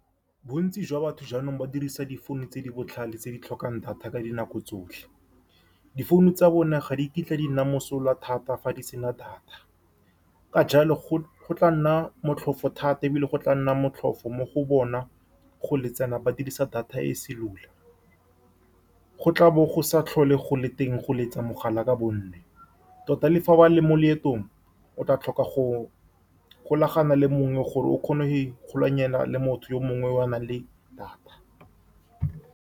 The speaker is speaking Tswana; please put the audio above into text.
Bontsi jwa batho jaanong ba dirisa difounu tse di botlhale, tse di tlhokang data ka dinako tsotlhe. Difounu tsa bone ga di kitla di nna mosola thata fa di sena data. Ka jalo, go-go tla nna motlhofu thata, ebile go tla nna motlhofu mo go bona go leletsana ba dirisa data e cellular, go tla bo go sa tlhole go le teng go letsa mogala ka , tota le fa ba le mo leetong, o tla tlhoka go golagana le mongwe gore o kgone go ikgolaganya le motho yo mongwe o a nang le data.